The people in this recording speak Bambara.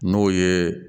N'o ye